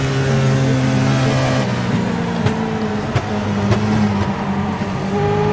اراضی قانون کے خلاف حریت کی کال پر وادی میں مکمل ہڑتال